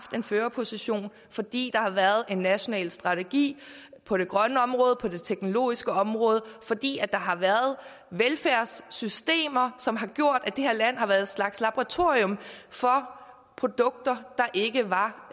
en førerposition fordi der har været en national strategi på det grønne område på det teknologiske område fordi der har været velfærdssystemer som har gjort at det her land har været en slags laboratorium for produkter der ikke var